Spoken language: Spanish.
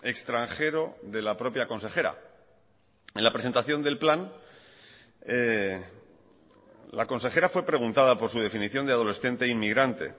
extranjero de la propia consejera en la presentación del plan la consejera fue preguntada por su definición de adolescente inmigrante